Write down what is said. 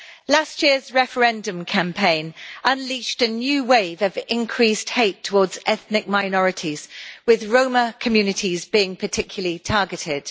Last year's referendum campaign unleashed a new wave of increased hate towards ethnic minorities, with Roma communities being particularly targeted.